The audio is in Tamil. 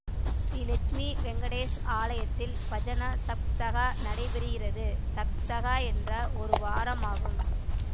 ஸ்ரீ லக்ஷ்மி வெங்கடேஷ் ஆலயத்தில் பஜன சப்தஹா நடைபெறுகிறது சப்தஹா என்றால் ஒரு வாரம் ஆகும்